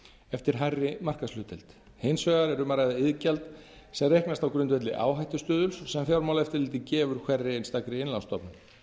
eftir hærri markaðshlutdeild hins vegar er um að ræða iðgjald sem reiknast á grundvelli áhættustuðuls sem fjármálaeftirlitið gefur hverri einstakri innlánsstofnun